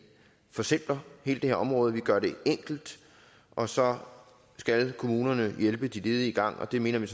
forsimpler hele det her område at vi gør det enkelt og så skal kommunerne hjælpe de ledige i gang og det mener vi